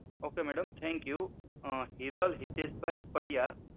okay madam thank you Hiral Hiteshbhai Padiya